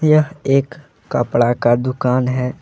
यह एक कपड़ा का दुकान है।